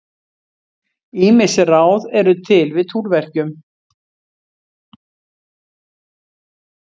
Ýmis ráð eru til við túrverkjum.